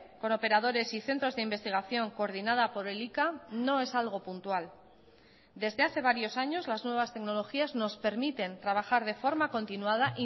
con operadores y centros de investigación coordinada por elika no es algo puntual desde hace varios años las nuevas tecnologías nos permiten trabajar de forma continuada